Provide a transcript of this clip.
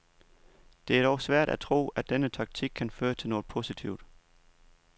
Det er dog svært at tro, at denne taktik kan føre til noget positivt.